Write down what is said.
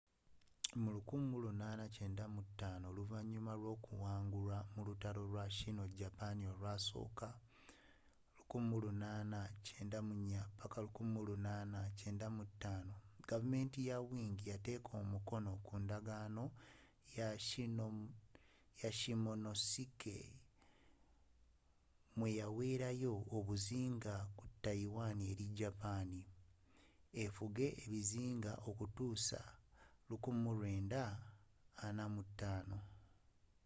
mu 1895 oluvanyuma lw'okuwangulwa mu lutalo lwa sino- japan i olwasooka 1894-1895 gavumenti ya wing eyateeka omukono ku ndagaano ya shimonoseki mweyawelayo obuyinza ku taiwan eri japan efuga ebizinga okutuusa 1945